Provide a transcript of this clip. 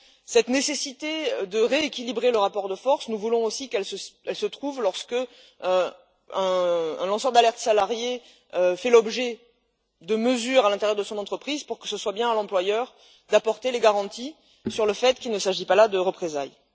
Cette nécessité de rééquilibrer le rapport de forces, nous voulons aussi qu'elle soit prise en compte lorsqu'un lanceur d'alerte salarié fait l'objet de mesures à l'intérieur de son entreprise, pour qu'il appartienne bien à l'employeur d'apporter les garanties sur le fait qu'il ne s'agit pas là de représailles.